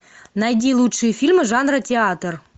найди лучшие фильмы жанра театр